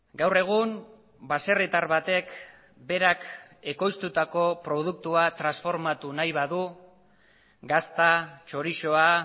gaur egun baserritar batek berak ekoiztutako produktua transformatu nahi badu gazta txorizoa